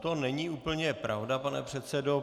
To není úplně pravda, pane předsedo.